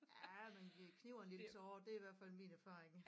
Ja man vi kniber en lille tåre det er i hvert fald min erfaring